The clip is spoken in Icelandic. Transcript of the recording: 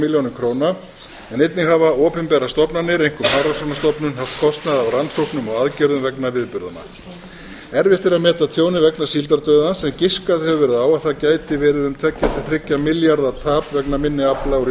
milljónir króna en einnig hafa opinberar stofnanir einkum hafrannsóknastofnun haft kostnað af rannsóknum og aðgerðum vegna viðburðanna erfitt er að meta tjónið vegna síldardauðans en giskað hefur verið á að það gæti verið um tveggja til þriggja milljarða tap vegna minni afla úr